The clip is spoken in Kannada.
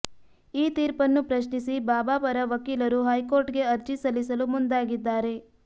ಈ ತೀರ್ಪನ್ನು ಪ್ರಶ್ನಿಸಿ ಬಾಬಾ ಪರ ಪಕೀಲರು ಹೈಕೋರ್ಟ್ ಗೆ ಅರ್ಜಿ ಸಲ್ಲಿಸಲು ಮುಂದಾಗಿದ್ದಾರೆ